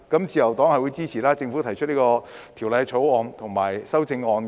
自由黨支持政府提出的《條例草案》和修正案。